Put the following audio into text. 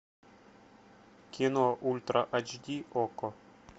кино ультра ач ди окко